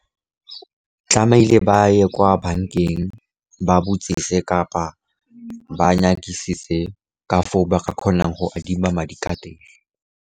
Tlamehile ba ye kwa bankeng ba botsise, kapa ba nyakisise, ka foo ba ka kgonang go adima madi ka teng.